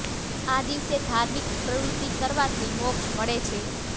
આ દિવસે ધાર્મિક પ્રવૃત્તિ કરવાથી મોક્ષ મળે છે